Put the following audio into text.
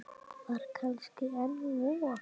Var kannski enn von?